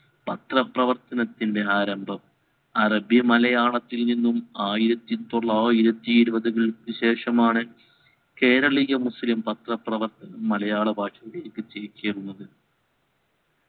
പത്രപ്രവർത്തത്തിൻറെ ആരംഭം അറബി മലയാളത്തിൽ നിന്നും ആയിരത്തി ഇരുവതുകൾക്ക് ശേഷമാണ് കേരളീയ മുസ്ലിം പത്ര പ്രവർത്ത മലയാള ഭാഷയിലേക്ക് തിരിച്ചുയരുന്നത്